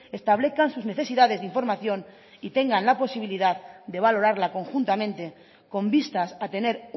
establezcan sus necesidades de información y tengan la posibilidad de valorarla conjuntamente con vistas a tener